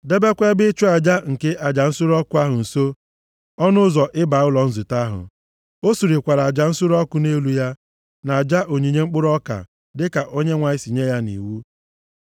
Debekwa ebe ịchụ aja nke aja nsure ọkụ ahụ nso ọnụ ụzọ ịba ụlọ nzute ahụ. O surekwara aja nsure ọkụ nʼelu ya, na aja onyinye mkpụrụ ọka dịka Onyenwe anyị si nye ya nʼiwu.